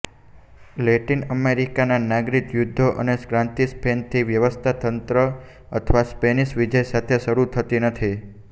Latin અમેરિકાના નાગરિક યુદ્ધો અને ક્રાંતિ સ્પેનથી સ્વાતંત્ર્ય અથવા સ્પેનિશ વિજય સાથે શરૂ થતી નથી